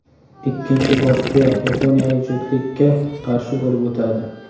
Ikkinchi bosqiya yaponiyalik juftlikka qarshi bo‘lib o‘tadi.